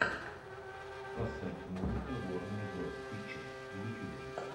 поставь музыка ворнер броз пикчерз в ютюбе